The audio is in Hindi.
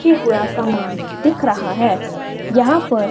के हुआ समान दिख रहा है यहाँ पर--